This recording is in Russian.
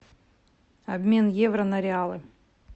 обмен евро на реалы